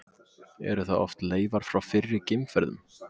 Eru það oft leifar frá fyrri geimferðum.